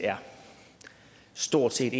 stort set